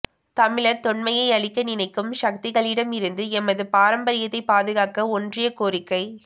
தமிழர் தொன்மையை அழிக்க நினைக்கும் சக்திகளிடம் இருந்து எமது பாரம்பரியத்தை பாதுகாக்க ஒன்றிணைய கோரிக்கை